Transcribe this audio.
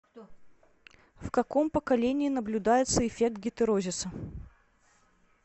в каком поколении наблюдается эффект гетерозиса